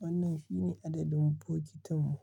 Wannan shine adadin bokitinmu.